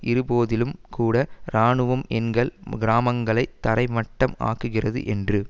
இருந்த போதிலும் கூட இராணுவம் எங்கள் கிராமங்களை தரை மட்டம் ஆக்குகிறது என்று